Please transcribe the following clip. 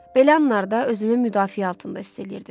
Belə anlarda özümü müdafiə altında hiss eləyirdim.